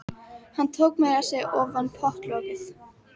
Hann tók meira að segja ofan pottlokið.